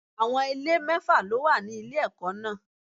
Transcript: Àwọn ilé mẹ́fà ló wà ní ilé ẹ̀kọ́ náà.